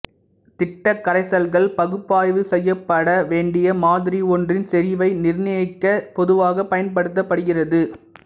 திட்டக் கரைசல்கள் பகுப்பாய்வு செய்யப்பட வேண்டிய மாதிரி ஒன்றின் செறிவை நிர்ணயிக்க பொதுவாக பயன்படுத்தப்படுகிறது